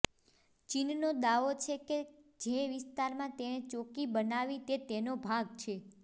ચીનનો દાવો છે કે જે વિસ્તારમાં તેને ચોકી બનાવી તે તેનો ભાગ છે